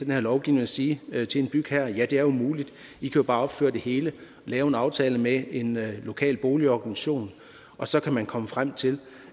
her lovgivning og sige til en bygherre ja det er jo muligt i kan bare opføre det hele og lave en aftale med en lokal boligorganisation og så kan man komme frem til